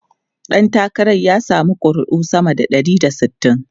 Dan takarar ya samu kuri'u sama da ɗari da sittin.